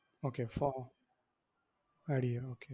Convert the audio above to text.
okay pho~ add ചെയ്യാം okay